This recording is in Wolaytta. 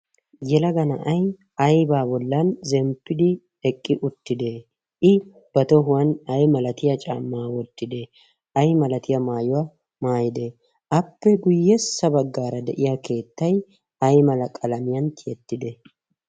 yelaga na'ai aibaa bollan zemppidi eqqi uttide? i ba tohuwan ay malatiya caammaa wottide ay malatiyaa maayuwaa maayide appe guyyessa baggaara de'iya keettay ay malaqalamiyan tiyettide?